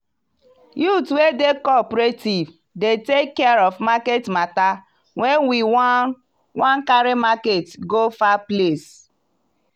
youth wey dey cooperative dey take care of market matter wen we wan wan carry market go far place.